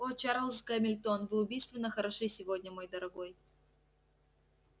о чарлз гамильтон вы убийственно хороши сегодня мой дорогой